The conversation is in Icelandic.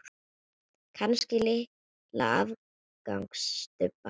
Kannski litla afgangs stubba.